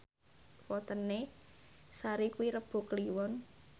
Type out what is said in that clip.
wetone Sari kuwi Rebo Kliwon